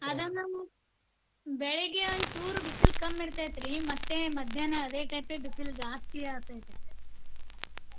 ಅದ ನಮ್ ಬೆಳಗ್ಗೆ ಒಂದಚೂರು ಬಿಸಿಲು ಕಮ್ಮಿ ಇರ್ತೆತ್ರಿ. ಮತ್ತೆ ಮದ್ಯಾಹ್ನ ಅದೇ type ಬಿಸಿಲು ಜಾಸ್ತಿ ಆಗ್ತೆತ್ರಿ.